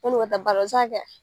ka taa baara la o bɛ se ka kɛ